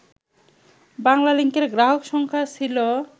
বাংলালিংকের গ্রাহক সংখ্যা ছিল